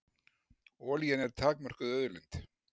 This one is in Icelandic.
Olían er takmörkuð auðlind.